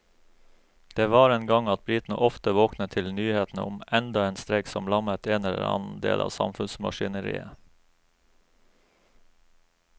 Det var en gang at britene ofte våknet til nyhetene om enda en streik som lammet en eller annen del av samfunnsmaskineriet.